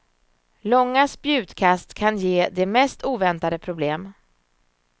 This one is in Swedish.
Långa spjutkast kan ge de mest oväntade problem.